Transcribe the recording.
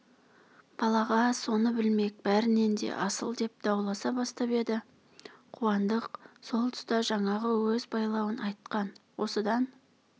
балаға соны білмек бәрінен де асыл деп дауласа бастап еді қуандық сол тұста жаңағы өз байлауын айтқан осыдан